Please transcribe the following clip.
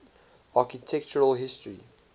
architectural history